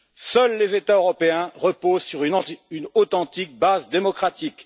Seuls les États européens reposent sur une authentique base démocratique.